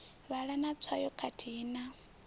vhala na tswayo khathihi na